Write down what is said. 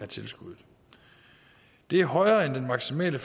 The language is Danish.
tilskuddet det er højere end den maksimale